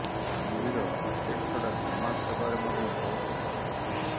ଗମ୍ଭୀର cricket ଛଡ଼ା ସମାଜ ସେବାରେ ମଧ୍ୟ ବହୁତ ସକ୍ରିୟ